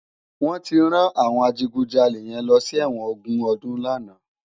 Wòn ti rán áwòn àjigúnjàlé yèn lòsi èwòn ógún òdún làná